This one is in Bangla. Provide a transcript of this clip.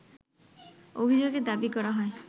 অভিযোগে দাবি করা হয়